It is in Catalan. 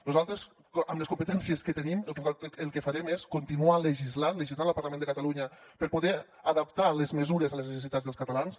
nosaltres amb les competències que tenim el que farem és continuar legislant al parlament de catalunya per poder adaptar les mesures a les necessitats dels catalans